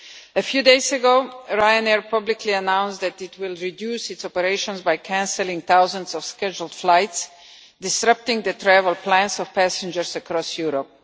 A few days ago, Ryanair publicly announced that it would reduce its operations by cancelling thousands of scheduled flights, disrupting the travel plans of passengers across Europe.